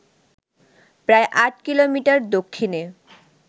প্রায় ৮ কিলোমিটার দক্ষিণে